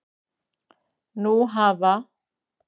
Nú hafa